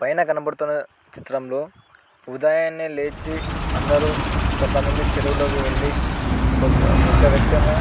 పైన కనపడుతున్న చిత్రంలో ఉదయాన్నే లేచి అందరు కొంతమంది చెరువులకు వెళ్లి ఒక వ్యక్తి ఏమో --